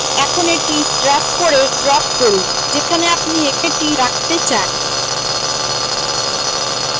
এখন এটি drag করে drop করুন যেখানে আপনি এটি রাখতে চান